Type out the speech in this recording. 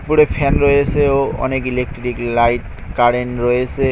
উপরে ফ্যান রয়েসে ও অনেক ইলেকট্রিক লাইট কারেন রয়েসে।